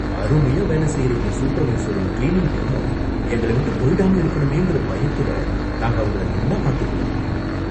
அருமையா வேலை செய்ற இந்த சூப்பர்வைசரும், கிளீனிங் டீமும் எங்கள விட்டு போயிடாம இருக்கணுமேங்கற பயத்துலயே நாங்க அவங்கள நல்லா பாத்துக்குவோம்.